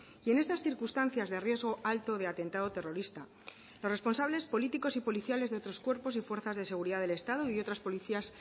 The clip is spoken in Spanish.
y en estas circunstancias de riesgo alto de atentado terrorista los responsables políticos y policiales de otros cuerpos y fuerzas de seguridad del estado y otras policías